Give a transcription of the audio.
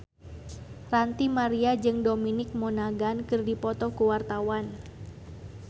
Ranty Maria jeung Dominic Monaghan keur dipoto ku wartawan